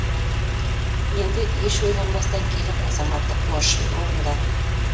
енді еш ойланбастан келіп азаматтық борышымды орындадым